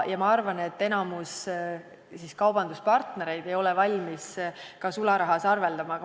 Ma arvan, et enamik kaubanduspartnereid ei ole valmis ka sularahas arveldama.